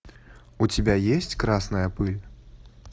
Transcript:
у тебя есть красная пыль